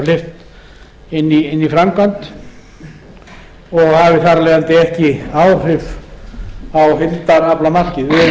hleypt inn í framkvæmd og hafi þar af leiðandi ekki áhrif á heildaraflamarkið